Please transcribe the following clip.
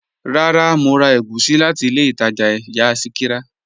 Rárá, Mo rà ègúsì láti ilẹ̀ Ìtaja ìyà Sikira.